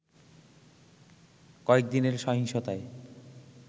কয়েকদিনের সহিংসতায়